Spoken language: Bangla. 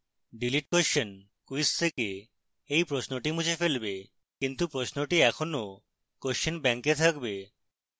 delete question quiz থেকে এই প্রশ্নটি মুছে ফেলবে কিন্তু প্রশ্নটি এখনও question bank এ থাকবে